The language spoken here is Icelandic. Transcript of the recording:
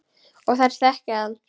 Og þær þekki hann.